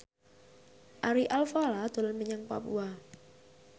Ari Alfalah dolan menyang Papua